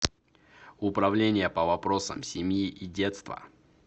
управление по вопросам семьи и детства